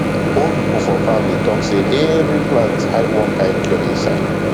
old people for farm dey talk say every plant hide one kind cure inside